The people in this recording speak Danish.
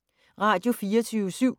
Radio24syv